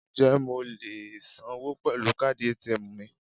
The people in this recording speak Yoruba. Ǹjẹ́ mo lè sanwó pẹ̀lú káàdì ATM mi?